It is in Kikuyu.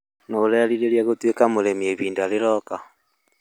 Nĩ ũreerirĩria gũtũĩka mũrĩmĩ ihinda rĩroka?